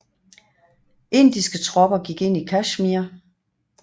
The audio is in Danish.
Indiske tropper gik ind i Kashmir